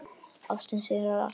Ástin sigrar allt.